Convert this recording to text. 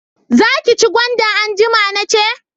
Za ki ci gwanda anjima nace